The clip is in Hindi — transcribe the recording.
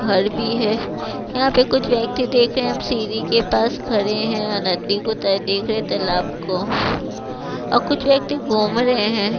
घर भी है यहाँ पे कुछ व्यक्ति देख रहे हैं हम सीरी के पास खड़े हैं अनद्दी को ते देख रहे तालाब को और कुछ व्यक्ति घूम रहे हैं।